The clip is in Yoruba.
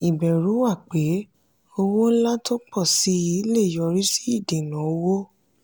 ìbẹ̀rù wà pé owó ńlá tó pọ̀ sí i lè yọrí sí ìdènà owó.